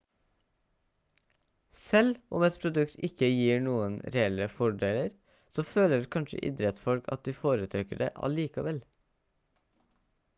selv om et produkt ikke gir noen reelle fordeler så føler kanskje idrettsfolk at de foretrekker det allikevel